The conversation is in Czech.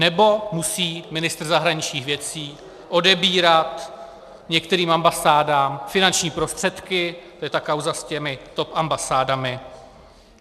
Nebo musí ministr zahraničních věcí odebírat některým ambasádám finanční prostředky, to je ta kauza s těmi top ambasádami.